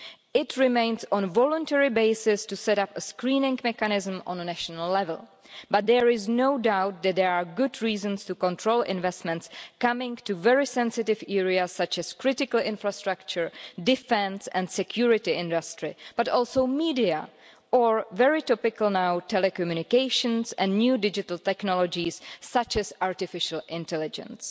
It remains on a voluntary basis to set up a screening mechanism at a national level, but there is no doubt that there are good reasons to control investments coming to very sensitive areas such as critical infrastructure, defence and the security industry, but also the media or very topical now telecommunications and new digital technologies, such as artificial intelligence.